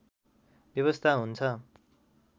व्यवस्था हुन्छ